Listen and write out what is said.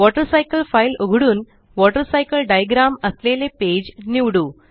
water cycle file उघडून water cycle diagram असलेले page निवडू